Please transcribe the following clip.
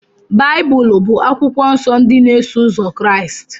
Baịbụl bụ akwụkwọ nsọ ndị na-eso ụzọ Kraịst.